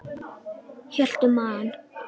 Hélt um magann.